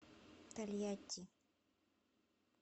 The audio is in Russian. тольятти